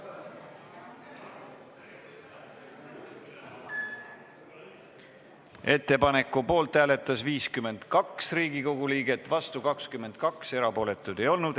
Hääletustulemused Ettepaneku poolt hääletas 52 Riigikogu liiget, vastu 22, erapooletuid ei olnud.